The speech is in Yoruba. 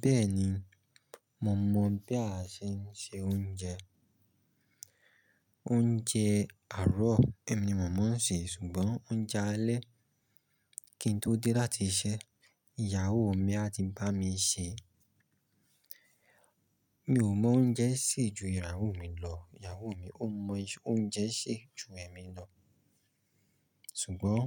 Bẹ́ẹ̀ni, mo mọ̀ bí a ṣe ń se oúnjẹ. Oúnjẹ àárọ̀ ẹ̀mi ni mo máa ń sè, ṣùgbọ́n oúnjẹ alẹ́ kí n tó dé láti iṣẹ́, ìyàwó mi á ti bá mi sè. Mi ò mọ oúnjẹ sè ju ìyàwó mi lọ. Ìyàwó mi ò mọ oúnjẹ sè ju ẹ̀mi lọ. Ṣùgbọ́n